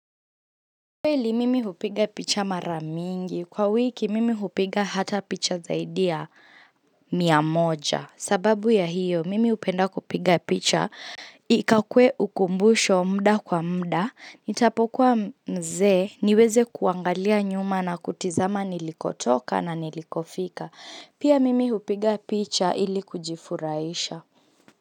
Kweli mimi hupiga picha maramingi kwa wiki mimi hupiga hata picha zaidia miamoja sababu ya hiyo mimi hupenda kupiga picha Ika kue ukumbusho mda kwa mda nitapokuwa mze niweze kuangalia nyuma na kutizama nilikotoka na nilikofika pia mimi hupiga picha ili kujifuraisha.